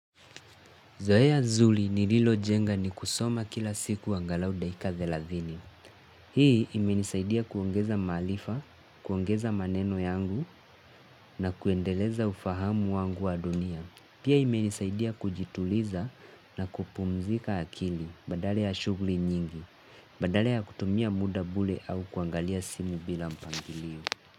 Zoea zuri nililojenga ni kusoma kila siku angalau dakika thelathini. Hii imenisaidia kuongeza maarifa, kuongeza maneno yangu na kuendeleza ufahamu wangu wa dunia. Pia imenisaidia kujituliza na kupumzika akili badala ya shughuli nyingi. Badala ya kutumia muda bure au kuangalia simu bila mpangilio.